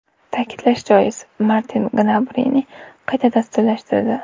Ta’kidlash joiz, Martin Gnabrini qayta dasturlashtirdi.